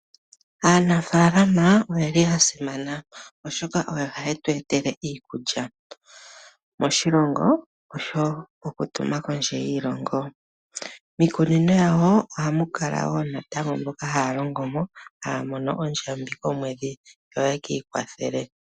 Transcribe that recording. Aanafaalama oyo aasimanintu koshigwana, oshoka ohaye tu etele iikulya moshilongo, yo yimwe taye yi tumine wo kondje yoshilongo. Miikunino omu na wo mboka haya longo mo, noha ya futwa ondjambi yokomwedhi opo ye ki ikwathele.